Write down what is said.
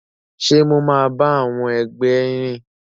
Ṣe mo ma ba àwọn ẹgbẹ rìn?